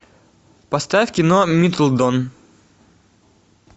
поставь кино миддлтон